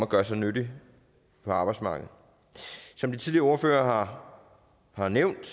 gøre sig nyttige på arbejdsmarkedet som de tidligere ordførere har nævnt